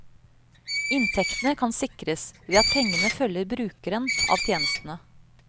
Inntektene kan sikres ved at pengene følger brukeren av tjenestene.